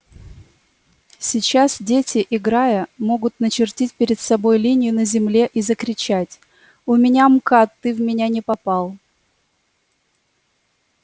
сейчас дети играя могут начертить перед собой линию на земле и закричать у меня мкад ты в меня не попал